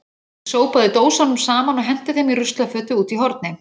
Ég sópaði dósunum saman og henti þeim í ruslafötu úti í horni.